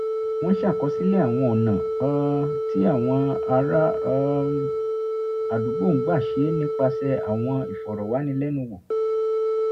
wọ́n ṣàkọsílẹ̀ àwọn ọ̀nà um tí àwọn ará um àdúgbò ń gbà ṣe é nípasẹ̀ àwọn ìfọ̀rọ̀wánilẹ́nuwò